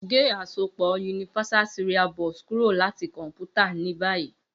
Ge asopọ USB kuro lati kọnputa ni bayi!